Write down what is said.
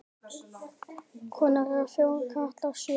Konur eru fjórar, karlar sjö.